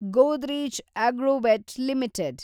Godrej Agrovet limited